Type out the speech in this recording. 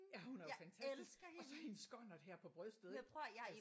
Ja hun er jo fantastisk! Og så hendes skonnert her på brystet ik? Altså